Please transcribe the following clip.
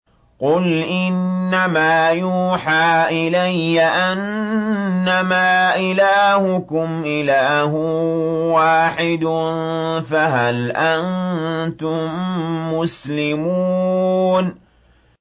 قُلْ إِنَّمَا يُوحَىٰ إِلَيَّ أَنَّمَا إِلَٰهُكُمْ إِلَٰهٌ وَاحِدٌ ۖ فَهَلْ أَنتُم مُّسْلِمُونَ